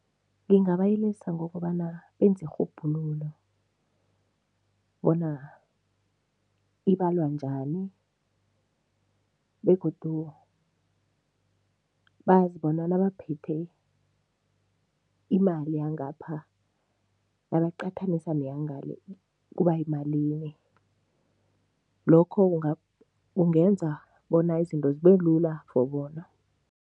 Ngingabayelelisa ngokobana benze irhubhululo bona ibalwa njani begodu bazi bona nabaphethe imali yangapha, nabayiqathanisa neyangale kuba yimalini. Lokho kungenza bona izinto zibelula for bona.